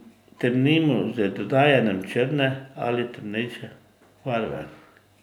Temnimo z dodajanjem črne ali temnejše barve.